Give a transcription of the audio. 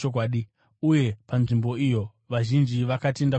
Uye panzvimbo iyo, vazhinji vakatenda kuna Jesu.